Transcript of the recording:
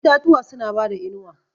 Itatuwa suna bada inuwa.